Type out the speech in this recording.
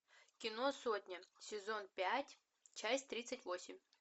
кино сотня сезон пять часть тридцать восемь